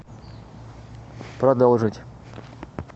продолжить